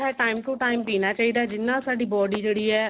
time to time ਪੀਨਾ ਚਾਹਿਦਾ ਹੈ ਜਿਹਦੇ ਨਾਲ ਸਾਡੀ body ਜਿਹੜੀ ਹੈ